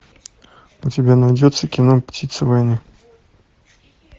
у тебя найдется кино птица войны